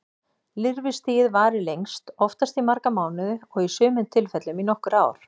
Lirfustigið varir lengst, oftast í marga mánuði og í sumum tilfellum í nokkur ár.